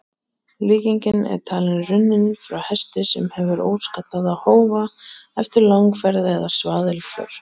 Líkingin er talin runnin frá hesti sem hefur óskaddaða hófa eftir langferð eða svaðilför.